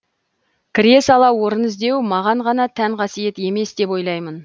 кіре сала орын іздеу маған ғана тән қасиет емес деп ойлаймын